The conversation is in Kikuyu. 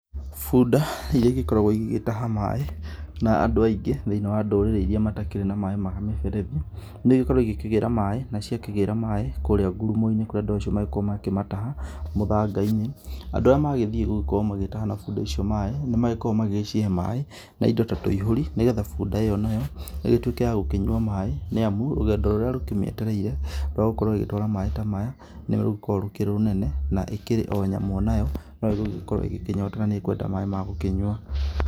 Bunda iria igĩkoragwo igĩtaha maaĩ na andũ aingĩ thĩinĩ wa ndũrĩrĩ iria matarĩ na maaĩ ma mĩberethi, nĩigĩkoragwo ikĩgĩra maaĩ, na ciagĩkĩgĩra maaĩ kũrĩa ngurumoinĩ kũrĩa andũ acio magĩkoragwo makĩmataha mũthangainĩ. Andũ arĩa magĩthiĩ gũgĩkorwo nĩmarataha na bunda icio maaĩ nĩmagĩkoragwo magĩcihe maaĩ na indo ta tũihũri, nĩgetha bunda ĩyo nayo ĩgĩtuĩke ya gũkĩnyua maaĩ, nĩamu rũgendo rũrĩa rũkĩmĩetereire rwa gũkorwo ĩgĩtwara maaĩ ta maya nĩrũkoragwo rwĩ rũnene. Na ĩkĩrĩ o nyamũ onayo no ĩgũgĩkorwo ĩkĩnyotora nanĩĩgũkĩenda maaĩ ma gũkĩnyua.